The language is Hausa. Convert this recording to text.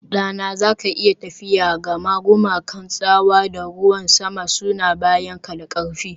Ɗana, za ka iya tafiya, gama gumakan tsawa da ruwan sama suna bayanka da ƙarfi